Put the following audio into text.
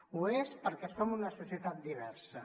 ho és perquè som una societat diversa